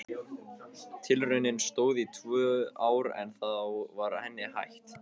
Tilraunin stóð í tvö ár en þá var henni hætt.